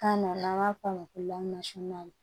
Kan na n'an b'a f'o ma ko lakana sunan